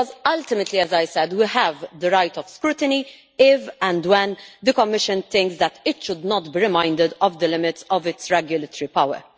Ultimately, as I have said, we have the right of scrutiny even when the Commission thinks it should not be reminded of the limits of its regulatory power.